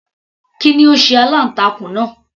Kí ni ó sé aláǹtakùn náà